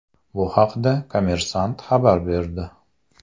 Bu haqda Kommersant xabar berdi .